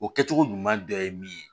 O kɛcogo ɲuman dɔ ye min ye